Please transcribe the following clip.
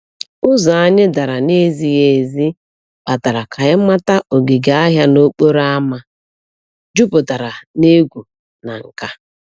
Ụzọ anyị dara na-ezighi ezi kpatara ka anyị mata ogige ahịa n'okporo ámá jupụtara na egwu na nka.